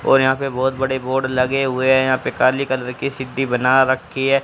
और यहां पे बहुत बड़े बोर्ड लगे हुए हैं यहां पे काली कलर की सीढ़ी बना रखी है।